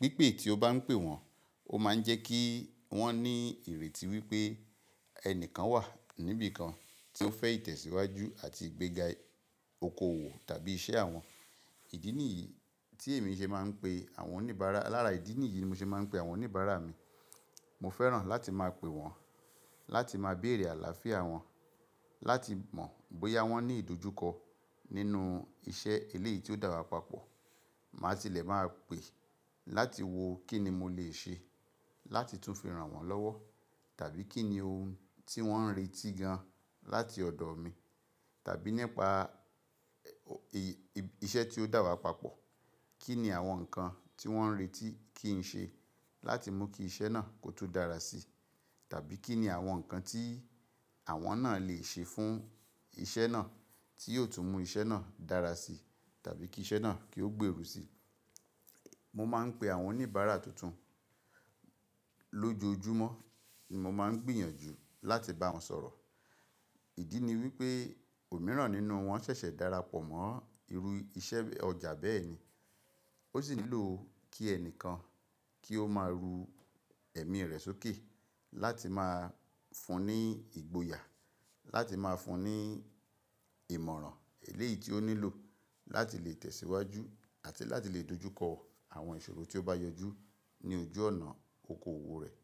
wípé tí ó bá ń pe wọn, ó máa ń jẹ́ kí wón ní ìrètí wípé ẹnìkan wà níbí kan tí ó fẹ́ ìtẹ̀síwájú àti ìgbéga òkòwò tàbí iṣẹ́ àwọn. Ìdí nìyí tí èmi ṣe máa ń pe àwọn oníbàárà. Lára ìdí nìyí ni mo ṣe máa ń pe àwọn oníbàárà mi. Mọ fẹ́ràn láti máa pe wọn, láti máa béèrè àlàáfíà wọn, láti mọ̀ bóyá wón ní ìdojúkọ nínú iṣẹ́ eléyìí tí ó dàwa papọ̀. Màṣílẹ̀ máa pè láti wò kí ni mo lè ṣe láti tún fi rànwọ́ lọ́wọ́ tàbí kí ni ohun tí wón ń retí gan láti ọ̀dọ̀ mi tàbí nípa iṣẹ́ tí ó dàwa papọ̀. Kí ni àwọn nǹkan tí wón ń retí kí n ṣe láti mú kí iṣẹ́ náà kó tún dára sí tàbí kí ni àwọn nǹkan tí àwọn náà lè ṣe fún iṣẹ́ náà tí yóò tún mú iṣẹ́ náà dára sí tàbí kí iṣẹ́ náà kí ó gberu sí. Mo máa ń pe àwọn oníbàárà tuntun lójoojúmọ́ ní mo máa ń gbìyànjú láti bá wọn sọ̀rọ̀. Ìdí ni wípé òmíràn nínú wọn ṣẹ̀ṣẹ̀ darapọ̀ mọ́ irú iṣẹ́ ọjà bẹ́ẹ̀ ni. Ó ṣì nílò kí ẹnìkan kí ó máa ru ẹ̀mí rẹ̀ sókè láti máa fún ní ìgboyà, láti máa fún ní ìmọ̀ràn eléyìí tí ó nílò láti lè tẹ̀síwájú àti láti lè dojúkọ àwọn ìṣòro tí ó bá yọjú ní ojú ọ̀nà òkòwò rẹ̀.